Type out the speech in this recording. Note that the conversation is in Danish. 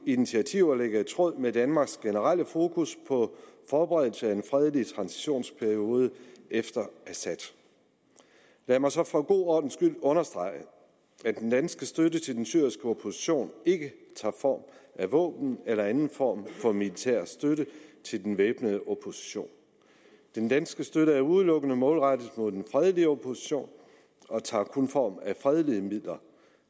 initiativer ligger i tråd med danmarks generelle fokus på forberedelse af en fredelig transitionsperiode efter assad lad mig så for en god ordens skyld understrege at den danske støtte til den syriske opposition ikke tager form af våben eller anden form for militær støtte til den væbnede opposition den danske støtte er udelukkende målrettet den fredelige opposition og tager kun form af fredelige midler